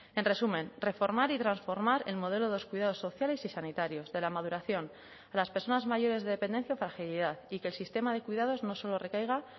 en resumen reformar y transformar el modelo de los cuidados sociales y sanitarios de la maduración de las personas mayores de dependencia y fragilidad y que el sistema de cuidados no solo recaiga